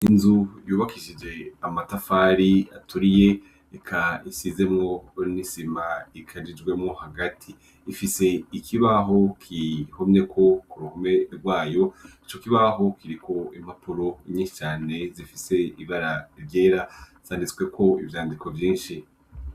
Inzu yubakishije amatafari aturiye eka isizemwo bonisima ikajijwemo hagati ifise ikibaho kihomyeko ku ruhome rwayo ico kibaho kiriko impapuro inyicane zifise ibara ryera zanditsweko ivyandiko vyinshi.